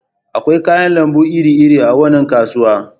Akwai kayan lambu iri-iri a wannan kasuwa.